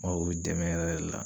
Mago be dɛmɛ yɛrɛ yɛrɛ la.